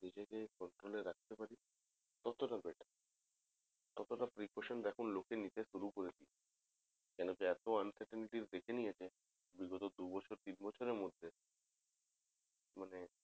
নিজেকে সাবধানে রাখতে পারি ততটা better ততটা precautions এখন লোকে শুরু করেছে কেনোকি এত uncertainty দেখে নিয়েছে বিগত দু বছর তিন বছরের মধ্যে মানে